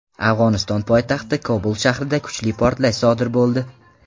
Afg‘oniston poytaxti Kobul shahrida kuchli portlash sodir bo‘ldi.